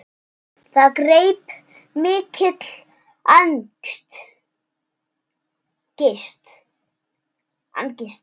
Það greip mikil angist.